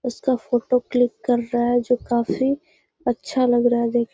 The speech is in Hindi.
उसका फोटो क्लिक कर रहा है जो काफी अच्छा लग रहा है देख --